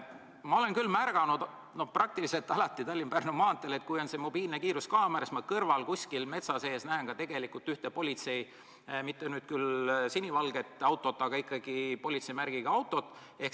Ma olen märganud peaaegu alati Tallinna-Pärnu maanteel, et kui on mobiilne kiiruskaamera, siis kõrval kuskil metsa sees on politsei mitte küll sinivalge auto, aga ikkagi politseimärgiga auto.